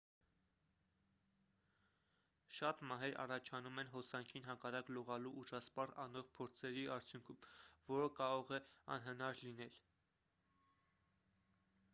շատ մահեր առաջանում են հոսանքին հակառակ լողալու ուժասպառ անող փորձերի արդյունքում որը կարող է անհնար լինել